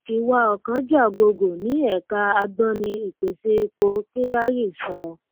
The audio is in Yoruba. iwà ọ̀kánjúà gogò ní ẹ̀ka agbọ́ni ìpèsè epo kyari sọ.